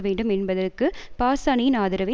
வேண்டும் என்பதற்கு பார்ஸானியின் ஆதரவை